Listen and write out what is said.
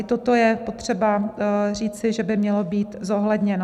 I toto je potřeba říci, že by mělo být zohledněno.